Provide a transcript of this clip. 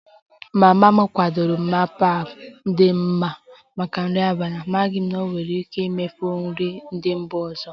Mama m kwadebere bibimpap dị mma maka nri abalị, amaghị m na ọ nwere ike ime efere ndị mba ọzọ